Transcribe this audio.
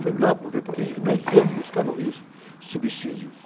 Fui lá para ver, porque nós quisemos buscar no Rio subsídios.